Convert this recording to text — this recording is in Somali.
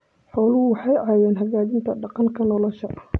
Xooluhu waxay caawiyaan hagaajinta deegaanka nolosha.